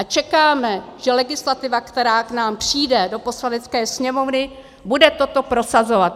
A čekáme, že legislativa, která k nám přijde do Poslanecké sněmovny, bude toto prosazovat.